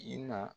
I na